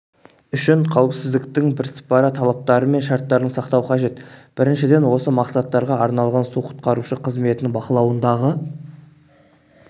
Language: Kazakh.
үшін қауіпсіздіктің бірсыпыра талаптары мен шарттарын сақтау қажет біріншіден осы мақсаттарға арналған су-құтқарушы қызметінің бақылауындағы